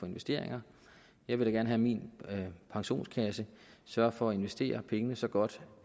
investeringer jeg vil da gerne have at min pensionskasse sørger for at investere pengene så godt